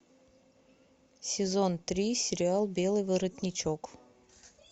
сезон три сериал белый воротничок